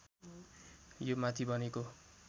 यो माथि बनेको